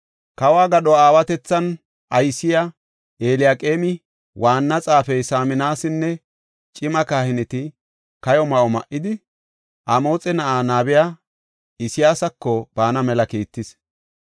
Kawo gadho aawatethan aysiya Eliyaqeemi, waanna xaafey Saminasinne cima kahineti kayo ma7o ma7idi, Amoxe na7aa nabiya Isayaasako baana mela kiittis.